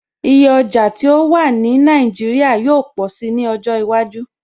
Iye ọjà tí ó wà wà ní Nàìjíríà yóó pọ̀si ní ọjọ́ iwájú